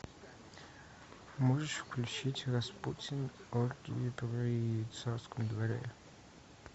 можешь включить распутин оргии при царском дворе